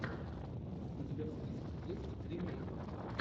у тебя в списке есть тримей